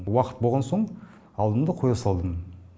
уақыт болған соң алдым да қоя салдым